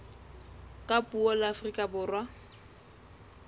ka puo la afrika borwa